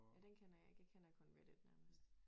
Ja den kender jeg ikke jeg kender kun reddit nærmest